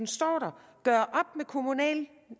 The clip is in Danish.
står der gøre op med kommunal